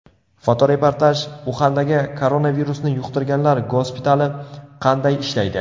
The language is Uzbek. Fotoreportaj Uxandagi koronavirusni yuqtirganlar gospitali qanday ishlaydi?